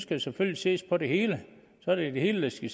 der selvfølgelig ses på det hele så er det det hele der skal